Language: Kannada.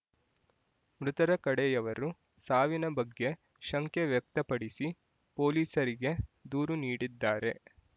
ಮೃತರ ಕಡೆಯವರು ಸಾವಿನ ಬಗ್ಗೆ ಶಂಕೆ ವ್ಯಕ್ತಪಡಿಸಿ ಪೊಲೀಸರಿಗೆ ದೂರು ನೀಡಿದ್ದಾರೆ